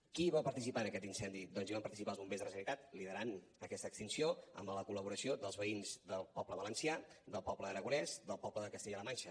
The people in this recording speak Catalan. qui va participar en aquest incendi doncs hi van participar els bombers de la generalitat liderant aquesta extinció amb la col·laboració dels veïns del poble valencià del poble aragonès del poble de castella la manxa